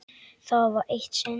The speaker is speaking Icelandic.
Það var eitt sinn.